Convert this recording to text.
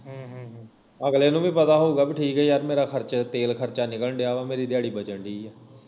ਅਗਲੇ ਨੂੰ ਵੀ ਪਤਾ ਹੋਉਗਾ ਬਈ ਠੀਕ ਆ ਯਾਰ ਮੇਰਾ ਖਰਚਾ ਮੇਰਾ ਤੇਲ ਖਰਚਾ ਨਿਕਲਣ ਦਿਆ ਵਾ ਮੇਰੀ ਦਿਹਾੜੀ ਬਚਣ ਦਈ ਆ